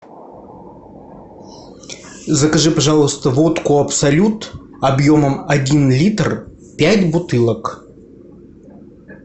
закажи пожалуйста водку абсолют объемом один литр пять бутылок